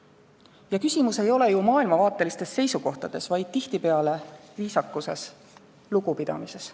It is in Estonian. Ja küsimus ei ole maailmavaatelistes seisukohtades, vaid tihtipeale viisakuses ja lugupidamises.